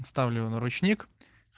ставлю на ручник